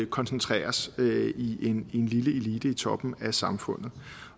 koncentreres i en lille elite i toppen af samfundet